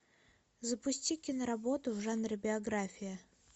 запусти киноработу в жанре биография